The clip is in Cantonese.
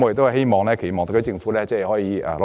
我期望特區政府可以努力。